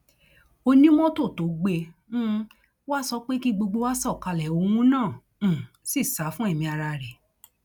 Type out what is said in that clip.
onímọtò tó gbé um wa sọ pé kí gbogbo wa sọkalẹ òun náà um sì sá fún ẹmí ara rẹ